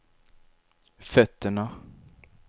fötterna